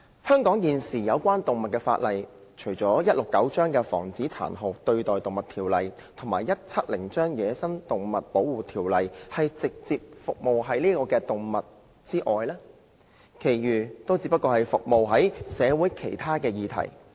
香港現時有關動物的法例，除第169章《防止殘酷對待動物條例》及第170章《野生動物保護條例》均是直接以動物為服務對象外，其餘也只是服務社會上其他議題。